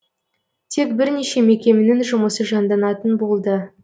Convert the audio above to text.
тек бірнеше мекеменің жұмысы жанданатын болды